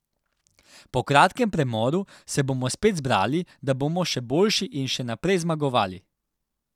Po kratkem premoru se bomo spet zbrali, da bomo še boljši in še naprej zmagovali.